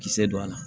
Kisɛ don a la